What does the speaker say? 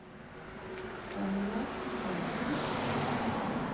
Ragna Karlsen